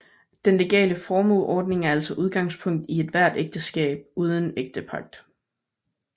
Den legale formueordning er altså udgangspunktet i ethvert ægteskab uden ægtepagt